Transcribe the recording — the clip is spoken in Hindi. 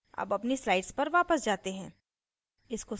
अब अपनी slides पर वापस जाते हैं